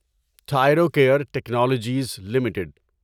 Thyrocare technologies limited